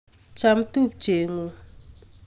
cham tupchengung